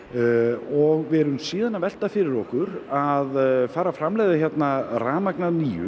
og við erum síðan að velta fyrir okkur að fara að framleiða hérna rafmagn að nýju